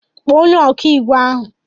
Kpọọ onye ọkàiwu ahụ!